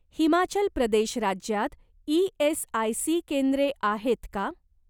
हिमाचल प्रदेश राज्यात ई.एस.आय.सी केंद्रे आहेत का?